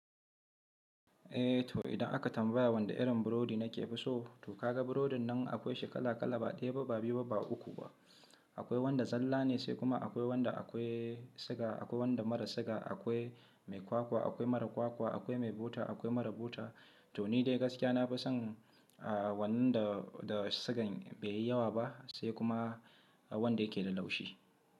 Eh to idan aka tambaya wanda irin burodi nakefi so, to kaga burodin nan akwai shi kala kala ba ɗaya ba, ba biyu ba, ba uku ba. Akwai wanda zalla ne sai kuma akwai wanda akwai siga, akwai wanda mara siga, akwai mai kwakwa, akwai mara kwakwa, akwai mai bota, akwai mara bota. To ni dai gaskiya nafi son a wannan da, da sigan baiyi yawa ba sai kuma wanda yake da laushi.